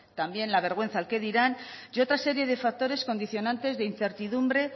también la vergüenza al qué dirán y otra serie de factores condicionantes de incertidumbre